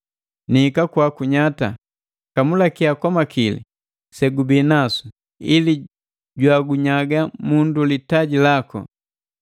Niika kwaku nyata! Kamulakia kwa makili segubinasu sajenu, ili jwagunyaga mundu litaji laku.”